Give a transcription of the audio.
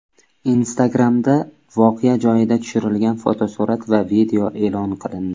Instagram’da voqea joyida tushirilgan fotosurat va video e’lon qilindi.